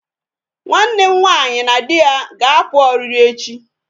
Nwanne m nwaanyi na di ya ga-apụ ọrịrị echi